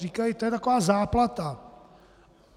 Říkají: To je taková záplata.